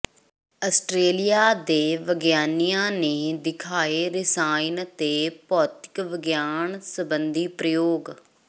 Australia ਦੇ ਵਿਗਿਆਨੀਆਂ ਨੇ ਦਿਖਾਏ ਰਸਾਇਣ ਤੇ ਭੌਤਿਕ ਵਿਗਿਆਨ ਸਬੰਧੀ ਪ੍ਰਯੋਗ